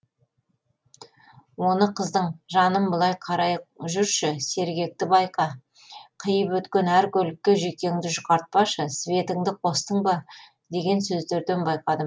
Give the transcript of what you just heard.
оны қыздың жаным былай қарай жүрші сергекті байқа қиып өткен әр көлікке жүйкеңді жұқартпашы светіңді қостың ба деген сөздерден байқадым